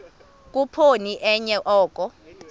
khuphoni enye oko